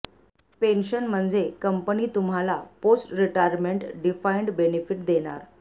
pension म्हणजे company तुम्हाला post retirement defined benefit देणार